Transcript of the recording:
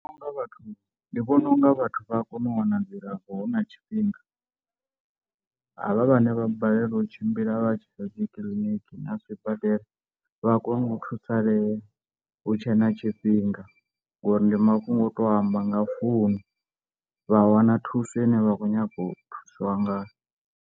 Ndi vhona unga vhathu ndi vhona unga vhathu vha a kona u wana dzilafho hu na tshifhinga, havha vhane vha balelwa u tshimbila vha tshiya dzi kiḽiniki na zwibadela vha kone u thusalea hu tshe na tshifhinga ngori ndi mafhungo o to amba nga founu vha wana thuso ine vha khou nyanga u thuswa ngayo.